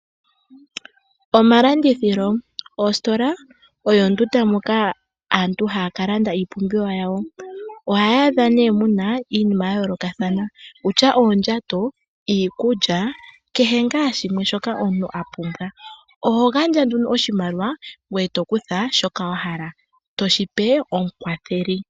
Omalandithilo. Ositola oyo ondunda moka aantu haya ka landa iipumbiwa yawo. Ohaya adha nee muna iinima ya yoolakathana wutya oondjato, iikulya kehe ngaa shimwe shoka omuntu apumbwa. Oho gandja nduno oshimaliwa ngweye tokutha shoka wahala .